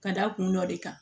Ka da kun dɔ de kan